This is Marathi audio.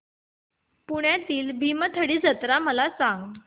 पुण्यातील भीमथडी जत्रा मला सांग